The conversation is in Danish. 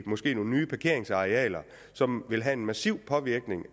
måske nye parkeringsarealer som vil have en massiv påvirkning